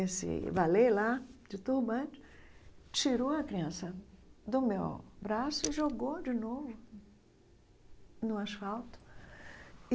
Esse valei lá, de turbante, tirou a criança do meu braço e jogou de novo no asfalto.